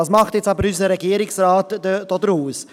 Was macht jetzt aber unser Regierungsrat daraus?